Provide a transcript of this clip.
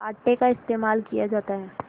आटे का इस्तेमाल किया जाता है